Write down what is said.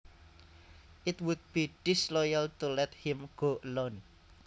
It would be disloyal to let him go alone